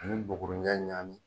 A ni bugurinjɛ ɲaami